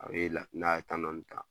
A bɛ la ,n'a ye dɔɔni ta